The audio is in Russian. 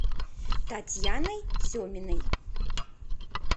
татьяной семиной